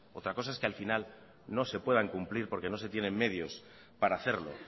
otra cosa es que al final no se puedan cumplir porque no se tienen medios para hacerlo